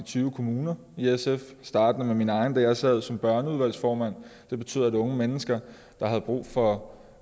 tyve kommuner startende med min egen kommune da jeg sad som børneudvalgsformand det betyder at unge mennesker der har brug for